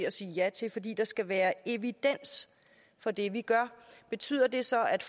at sige ja til fordi der skal være evidens for det vi gør betyder det så at